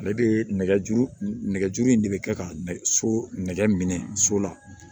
Ale bɛ nɛgɛ juru nɛgɛjuru in de bɛ kɛ ka nɛgɛ so nɛgɛ minɛ so la